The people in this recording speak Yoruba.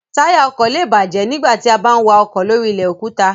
Táyà ọkọ̀ lé è bàjẹ́ nígbà tí a bá ń wa ọkọ̀ lóri ilẹ̀ òkúta